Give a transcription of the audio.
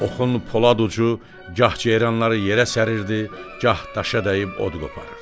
Oxun polad ucu gah ceyranları yerə sərir, gah daşa dəyib od qopardı.